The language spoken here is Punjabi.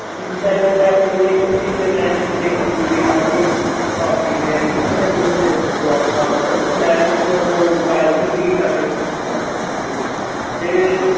ਗੱਲਬਾਤ ਹੋਈ। ਉਹਨੂੰ ਕਿਸੇ ਨੇ ਅਹ ਕਿਸੇ ਕੁੜੀ ਨੇ ਉਹਦੀ ਭਾਬੀ ਨੇ ਜਾਂ ਕਿਸੇ ਨੇ ਉਹਨੂੰ ਮੇਰੇ ਖਿਲਾਫ ਖੜਾ ਕਰਤਾ। ਇੱਕ marriage ਉਹ party ਸੀਗੀ ਸਾਡੇ। ਤੇ